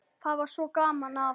Það var svo gaman að